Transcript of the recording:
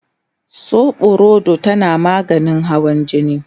soɓorodo tana maganin hawan jini